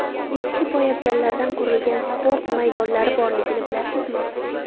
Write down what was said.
Eski poyabzallardan qurilgan sport maydonlari borligini bilasizmi?